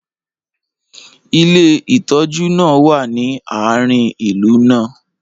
ilé ìtójú náà wa ni aarin ìlú náà